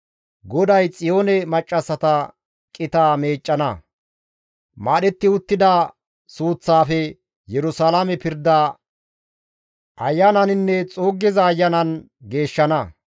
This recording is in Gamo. GODAY Xiyoone maccassata qitaa meeccana; maadhetti uttida suuththaafe Yerusalaame pirda ayananinne xuuggiza ayanan geeshshana.